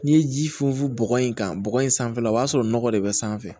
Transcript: N'i ye ji funfun bɔgɔ in kan bɔgɔ in sanfɛla la o b'a sɔrɔ nɔgɔ de bɛ sanfɛ